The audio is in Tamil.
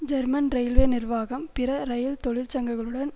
ஜெர்மன் இரயில்வே நிர்வாகம் பிற இரயில் தொழிற்சங்கங்களுடன்